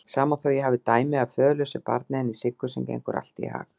Sama þótt ég hafi dæmi af föðurlausu barni, henni Siggu, sem gengur allt í hag.